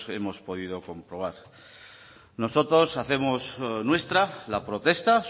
hemos podido comprobar nosotros hacemos nuestra la protesta